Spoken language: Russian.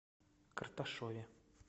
карташове